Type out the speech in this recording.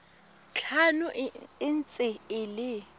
tlhano e ntse e le